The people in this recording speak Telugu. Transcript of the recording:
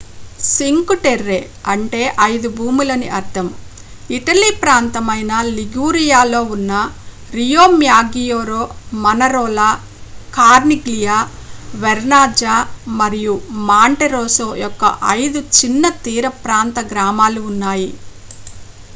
సింక్ టెర్రే అంటే ఐదు భూములని అర్ధం ఇటలీ ప్రాంతమైన లిగురియాలో ఉన్న రియోమ్యాగ్గియోర్ మనరోలా కార్నిగ్లియా వెర్నాజ్జా మరియు మాంటెరోసో యొక్క ఐదు చిన్న తీర ప్రాంత గ్రామాలు ఉన్నాయి